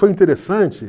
Foi interessante?